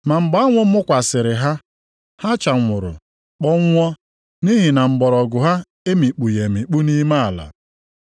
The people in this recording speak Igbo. Ma mgbe anwụ mụkwasịrị ha, ha chanwụrụ, kpọnwụọ, nʼihi na mgbọrọgwụ ha emikpughị emikpu nʼime ala.